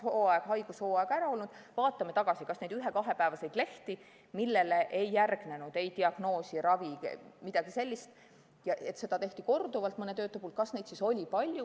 Kui on kaks haigushooaega ära olnud, vaatame tagasi, kas neid ühe-kahepäevaseid lehti, millele ei järgnenud ei diagnoosi, ravi ega midagi sellist ning neid võeti mõne töötaja puhul korduvalt, oli palju.